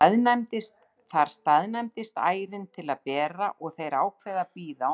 Þar staðnæmist ærin til að bera og þeir ákveða að bíða á meðan.